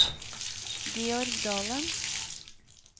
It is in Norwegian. Georg Dalen